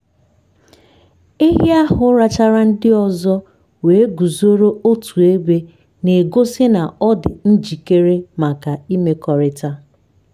ehi ahụ rachara ndị ọzọ wee guzoro otu ebe na-egosi na ọ dị njikere maka imekọrịta.